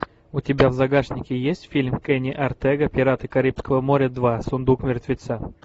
у тебя в загашнике есть фильм кенни ортега пираты карибского моря два сундук мертвеца